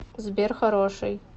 сбер хороший